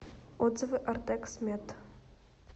отзывы ортекс мед